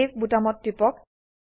save বোতামত টিপক